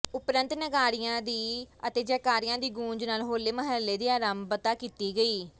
ਉਪਰੰਤ ਨਗਾਰਿਆਂ ਦੀ ਅਤੇ ਜੈਕਾਰਿਆਂ ਦੀ ਗੂੰਜ ਨਾਲ ਹੋਲੇ ਮਹੱਲੇ ਦੀ ਆਰੰਭਤਾ ਕੀਤੀ ਗਈ